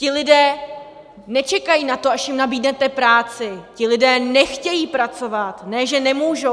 Ti lidé nečekají na to, až jim nabídnete práci, ti lidé nechtějí pracovat, ne že nemůžou.